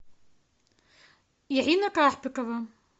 ирина карпикова